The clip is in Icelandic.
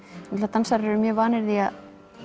dansarar eru mjög vanir því að